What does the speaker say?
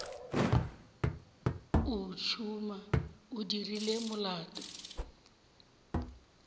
o tšhuma o dirile molato